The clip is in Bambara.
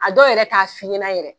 A dɔw yɛrɛ ta f'i ɲɛna yɛrɛ